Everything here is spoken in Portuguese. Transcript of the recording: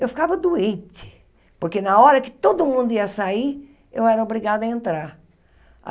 Eu ficava doente, porque na hora que todo mundo ia sair, eu era obrigada a entrar.